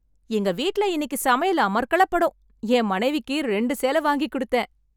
எங்க வீட்ல இன்னிக்கு சமையல் அமர்க்களப்படும், என் மனைவிக்கு ரெண்டு சேலை வாங்கி கொடுத்தேன்.